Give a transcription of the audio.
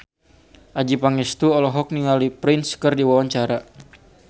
Adjie Pangestu olohok ningali Prince keur diwawancara